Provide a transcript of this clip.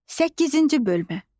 Səkkizinci bölmə.